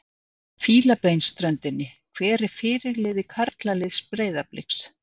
Fílabeinsströndinni Hver er fyrirliði karlaliðs Breiðabliks?